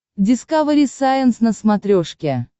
дискавери сайенс на смотрешке